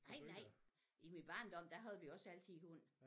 Nej nej i min barndom der havde vi også altid hund